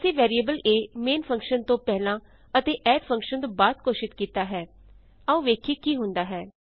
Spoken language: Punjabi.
ਅਸੀਂ ਵੈਰੀਏਬਲ a ਮੇਨ ਫੰਕਸ਼ਨ ਤੋਂ ਪਹਿਲਾਂ ਅਤੇ ਐਡ ਫੰਕਸ਼ਨ ਤੋਂ ਬਾਅਦ ਘੋਸ਼ਿਤ ਕੀਤਾ ਹੈ ਆਉ ਵੇਖੀਏ ਕੀ ਹੁੰਦਾ ਹੈ